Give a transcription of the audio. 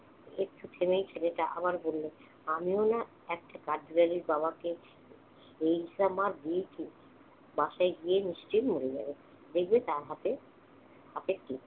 একটু থেমেই ছেলেটা আবার বলল, আমিও না একটা কাঠবিড়ালির বাবাকে যেই ইচ্ছা মার দিয়েছি, বাসায় গিয়ে নিশ্চয়ই মরে যাবে। এই যে তার হাতে~ হাতে কি?